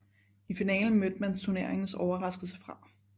I finalen mødte man turneringens overraskelse fra